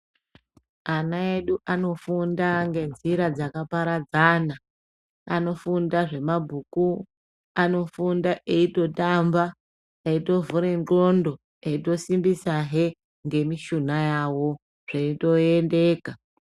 Ana edu anofunda ngenzira dzakaparadzana. Anofunda zvemabhuku, anofunda eitotamba eitovhure ndxondo eisitombisahe ngemishuna yavo, zveitoendeka.